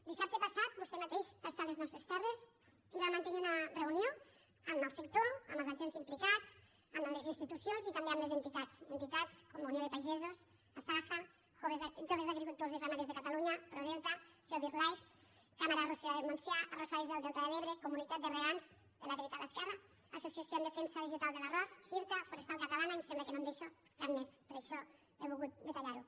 dissabte passat vostè mateix va estar a les nostres terres i va mantenir una reunió amb el sector amb els agents implicats amb les institucions i també amb les entitats entitats com unió de pagesos asaja joves agricultors i ramaders de catalunya prodelta seo birdlife cambra arrossera del montsià arrossaires del delta de l’ebre comunitat de regants de la dreta i l’esquerra associació de defensa vegetal de l’arròs irta forestal catalana i em sembla que no me’n deixo cap més per això he volgut detallar ho